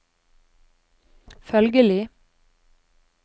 følgelig